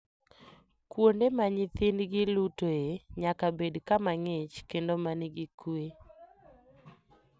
Kuonde ma nyithindgi lutoe nyaka bed kama ng'ich kendo ma nigi kuwe.